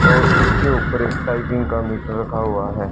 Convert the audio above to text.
और उसके ऊपर एक टाइपिंग का मीटर रखा हुआ है।